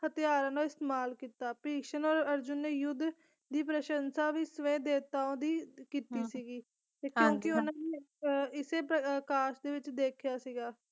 ਹਥਿਆਰਾਂ ਦੀ ਇਸਤੇਮਾਲ ਕੀਤਾ ਭਿਸ਼ਮ ਤੇ ਅਰਜੁਨ ਨੇ ਯੁੱਧ ਦੀ ਪ੍ਰਸ਼ੰਸਾ ਵੀ ਸਵੈ ਦੇਵਤਾਵਾਂ ਦੀ ਕੀਤੀ ਸੀਗੀ ਤੇ ਕਿਉਂਕਿ ਉਹਨਾਂ ਦੀ ਇਸੇ ਪ੍ਰਕਾਰ ਦੇ ਵਿੱਚ ਦੇਖਿਆ ਸੀਗਾ